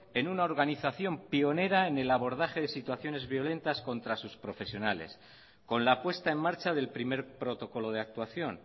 en una organización pionera en el abordaje de situaciones violentas contra sus profesionales con la puesta en marcha del primer protocolo de actuación